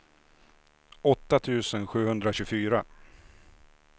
åtta tusen sjuhundratjugofyra